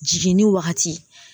Jiginni wagati